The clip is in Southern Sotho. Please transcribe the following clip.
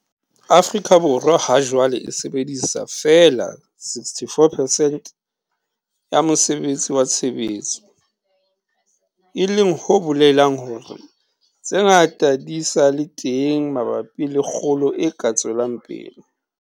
Afrika Borwa hajwale e sebedisa feela 64 percent ya mosebetsi wa tshebetso, e leng ho bolelang hore tse ngata di sa le teng mabapi le kgolo e ka tswelang pele.